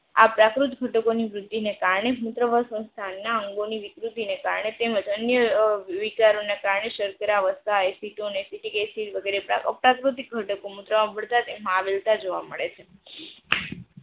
આ પ્રાકૃત ઘટકો ની વૃદ્ધિ ને કારણે મૂત્રઃ સંસ્થાનો વિકૃતિ ને કારણે તેમજ અન્ય વિચારો ના કારણે સર્કરા વસતા આઈસીટોને એસિટીક એસિડ વગેરે પ્રાપ્ત પ્રાકૃતિક ઘટકો માં આવેલા જોવા મળે છે.